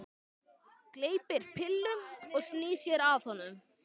Gleypir pillu og snýr sér að honum.